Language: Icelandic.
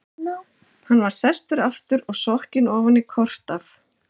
Hann var sestur aftur og sokkinn ofan í kort af